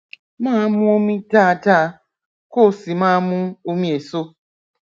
máa mu omi dáadáa kó o sì máa mu omi èso